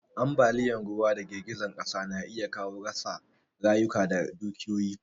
Ambaliyan ruwa da girgizar ƙasa na iya kawo rasa rayuka da dukiyoyi